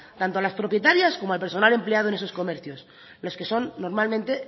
tanto a las propietarias como al personal empleado en esos comercios los que son normalmente